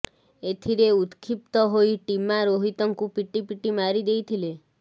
ଏଥିରେ ଉତ୍କ୍ଷିପ୍ତ ହୋଇ ଟିମା ରୋହିତଙ୍କୁ ପିଟିପିଟି ମାରି ଦେଇଥିଲେ